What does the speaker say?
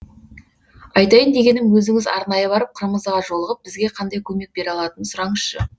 айтайын дегенім өзіңіз арнайы барып қырмызыға жолығып бізге қандай көмек бере алатынын сұраңызшы